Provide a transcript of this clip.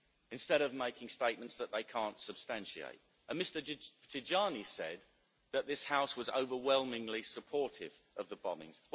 instead of making statements that they can't substantiate, and Mr Tajani said that this House was overwhelmingly supportive of the bombings.